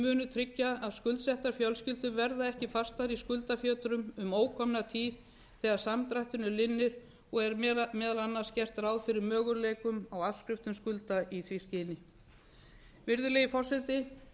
munu tryggja að skuldsettar fjölskyldur verða ekki fastar í skuldafjötrum um ókomna tíð þegar samdrættinum linnir og er meðal annars gert ráð fyrir möguleikum á afskriftum skulda í því skyni virðulegi forseti